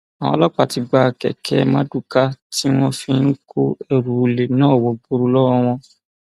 àwọn ọlọpàá ti gba kẹkẹ marduká tí wọn fi ń kó ẹrù olè náà wọgbọrọ lọwọ wọn